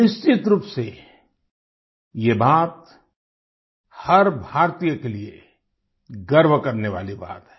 निश्चित रूप से ये बात हर भारतीय के लिए गर्व करने वाली बात है